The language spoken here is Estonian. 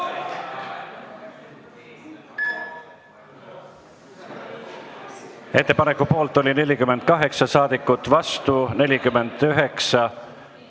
Hääletustulemused Ettepaneku poolt oli 48 ja vastu 49 saadikut.